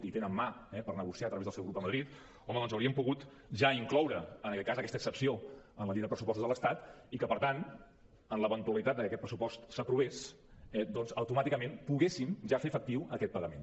i tenen mà eh per negociar a través del seu grup a madrid home doncs hi haurien pogut ja incloure en aquest cas aquesta excepció en la llei de pressupostos de l’estat i que per tant en l’eventualitat que aquest pressupost s’aprovés doncs automàticament poguéssim ja fer efectiu aquest pagament